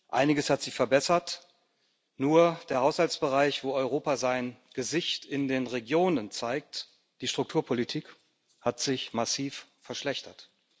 Einiges hat sich verbessert, nur der Haushaltsbereich, wo Europa sein Gesicht in den Regionen zeigt die Strukturpolitik hat sich massiv verschlechtert.